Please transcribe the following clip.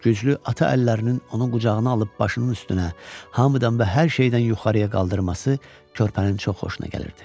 Güclü ata əllərinin onu qucağına alıb başının üstünə, hamıdan və hər şeydən yuxarıya qaldırması körpənin çox xoşuna gəlirdi.